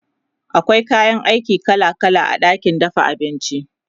akwai kayan aiki kala kala a ɗakin dafa abinci